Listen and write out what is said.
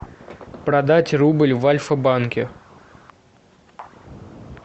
продать рубль в альфа банке